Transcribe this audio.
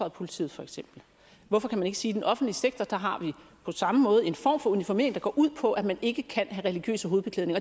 og politiet hvorfor kan vi ikke sige den offentlige sektor har vi på samme måde en form for uniformering der går ud på at man ikke kan have religiøs hovedbeklædning